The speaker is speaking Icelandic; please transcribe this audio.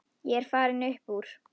Ég er farinn upp úr.